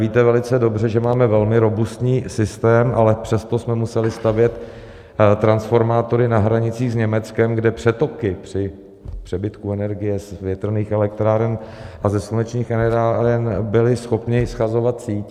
Víte velice dobře, že máme velmi robustní systém, ale přesto jsme museli stavět transformátory na hranicích s Německem, kde přetoky při přebytku energie z větrných elektráren a ze slunečních elektráren byly schopny shazovat síť.